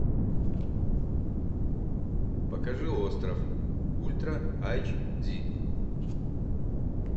покажи остров ультра айч ди